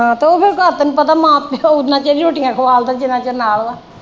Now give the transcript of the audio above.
ਤੇ ਉਹ ਫਿਰ ਘਰ ਤੈਨੂੰ ਪਤਾ ਮਾਂ ਪਿਓ ਓਨਾ ਚਿਰ ਰੋਟੀਆਂ ਖਵਾ ਸਕਦੇ ਜਿੰਨਾ ਚਿਰ ਨਾਲ ਵਾ।